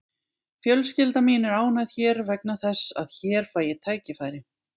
Fjölskylda mín er ánægð hér vegna þess að hér fæ ég tækifæri.